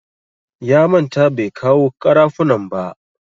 Ya manta bai kawo ƙarafuna ba.